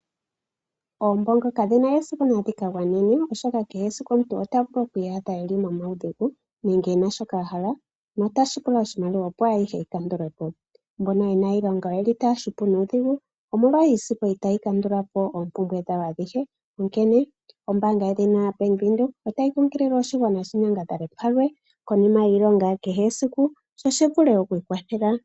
Oombongo kadhi na esiku dhi ka gwanene, oshoka kehe esiku omuntu ota vulu oku iyadha e li muudhigu nenge e na shoka a hala notashi pula oshimaliwa , opo ayihe yi kandulwe po. Mbono ye na iilonga otaya hupu nuudhigu omolwa iisimpo itayi kandula po oompumbwe dhawo adhihe, onkene ombaanga edhina Bank Windhoek otayi kunkilile oshigwana shi nyangadhale palwe konima yiilonga, opo shi vule oku ikwathela.